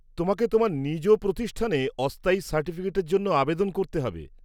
তোমাকে তোমার নিজ প্রতিষ্ঠানে অস্থায়ী সার্টিফিকেটের জন্য আবেদন করতে হবে।